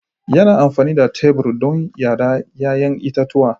Yana amfani da tebur don yada 'ya'yan itatuwa.